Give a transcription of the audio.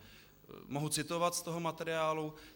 Mohu citovat z toho materiálu.